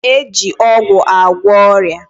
E ji ọgwụ agwọ ọrịa